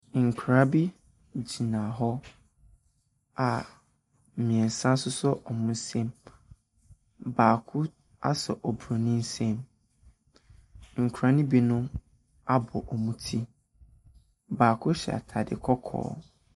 Nkra bi gyina hɔ a mmiensa asosɔ wɔn nsam. Baako aso obroni nsam. Nkra ne bi nom abɔ wɔn tir, baako hyɛ ataade kɔkɔɔ.